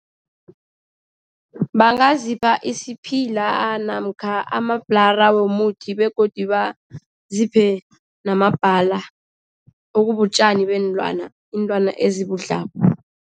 Bangazipha isiphila namkha amabhlara womuthi begodu baziphe namabhala, okubutjani beelwana. Iinlwana ezibudlako.